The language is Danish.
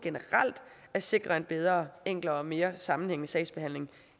at sikre en bedre og enklere og mere sammenhængende sagsbehandling